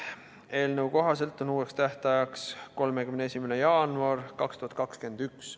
Eelnõu kohaselt on uus tähtaeg 31. jaanuar 2021.